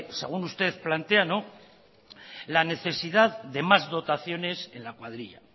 según usted plantea la necesidad de más dotaciones en la cuadrilla